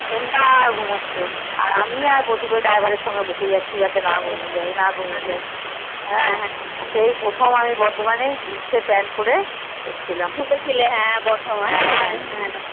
এনতার ঘুমোচ্ছে আর আমি আর প্রতীক driver এর সাথে বকে যাচ্ছি না ঘুমিয়ে আর সেই কখন আমি jeans এর pant পরে এসেছিলাম বর্ধমানে